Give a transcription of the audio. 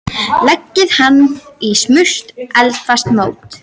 Leggið hann í smurt eldfast mót.